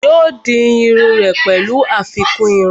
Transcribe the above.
yóò di iru rẹ̀ pẹ̀lú àfikún irun